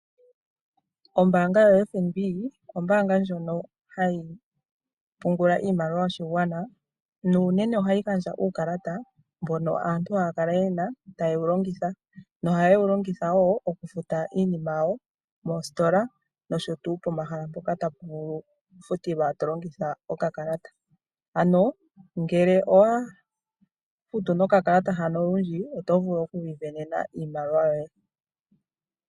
Ombaanga yoFNB ombaanga ndjono hayi pungula iimaliwa yoshigwana nuunene ohayi gandja uukalata mbono aantu haya kala ye na taye wu longitha nohaye wu longitha wo mokufuta iinima yawo moositola nosho wo pomahala mpoka tapu vulu okufutilwa to longitha okakalata. Ngele owa futu nokakalata olundji, oto vulu oku isindanena iimaliwa yoye.